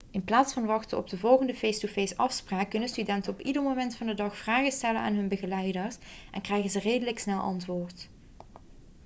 in plaats van wachten op de volgende face-to-face afspraak kunnen studenten op ieder moment van de dag vragen stellen aan hun begeleiders en krijgen ze redelijk snel antwoord